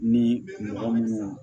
Ni mɔgɔ minnu